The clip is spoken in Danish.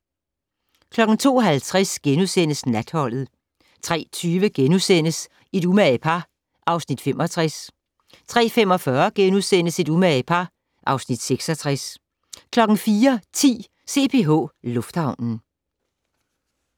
02:50: Natholdet * 03:20: Et umage par (Afs. 65)* 03:45: Et umage par (Afs. 66)* 04:10: CPH Lufthavnen